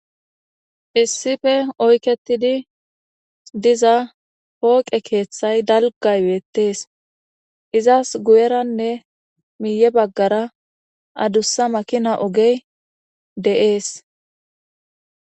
issife oyketidi diza pooqe keeththay dalgay weettees izas guyeranne miiye baggara adussa makina ogey de7ees